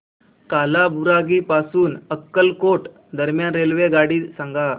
कालाबुरागी पासून अक्कलकोट दरम्यान रेल्वेगाडी सांगा